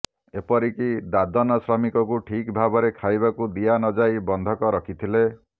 ଏପରିକି ଦାଦନ ଶ୍ରମିକଙ୍କୁ ଠିକ୍ ଭାବରେ ଖାଇବାକୁ ଦିଆ ନଯାଇ ବନ୍ଧକ ରଖିଥିଲେ